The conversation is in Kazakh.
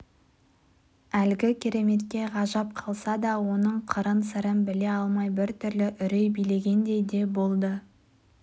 әлгі кереметке ғажап қалса да оның қыры-сырын біле алмай бір түрлі үрей билегендей де болды